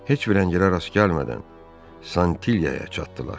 Heç bir əngələ rast gəlmədən Santilyaya çatdılar.